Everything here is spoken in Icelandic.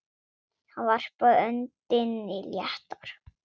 Hann varpaði öndinni léttar.